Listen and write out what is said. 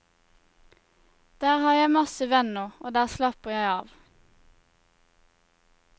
Der har jeg masse venner, og der slapper jeg av.